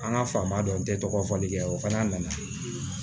An ka faama dɔ n tɛ tɔgɔ fɔli kɛ o fana nana